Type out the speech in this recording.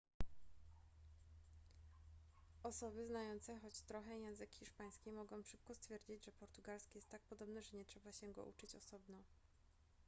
osoby znające choć trochę język hiszpański mogą szybko stwierdzić że portugalski jest tak podobny że nie trzeba się go uczyć osobno